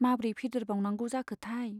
माब्रै फेदेरबावनांगौ जाखोथाय।